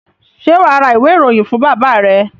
Ṣé wà á ra ìwé-ìròyìn fún bàbá rẹ?